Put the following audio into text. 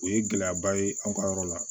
O ye gɛlɛyaba ye an ka yɔrɔ la